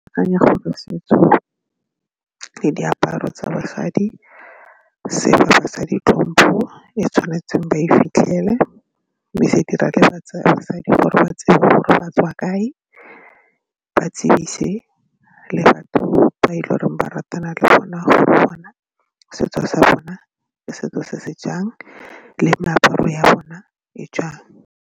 Ke akanya gore setso le diaparo tsa basadi se tlhompho e tshwanetseng ba e fitlhele mme se dira ke batsadi gore ba tsebe gore ba tswa kae ba tsebise le batho ba e le goreng ba ratana le bona gore bona setso sa bona setso se se jang le meaparo ya bona e jang.